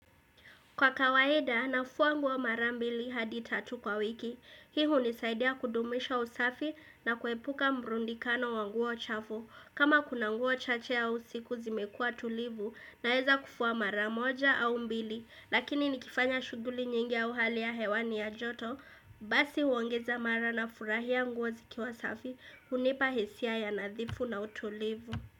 Kwa kawaida, nafua nguo mara mbili hadi tatu kwa wiki. Hi hunisaidia kudumisha usafi na kuepuka mbrundikano wanguo chafu. Kama kuna nguo chache ausiku zimekua tulivu na heza kufua mara moja au mbili. Lakini nikifanya shuguli nyingi ya uhali ya hewani ya joto, basi huongeza mara na furahia nguo zikiwa safi, unipa hisia ya nadhifu na utulivu.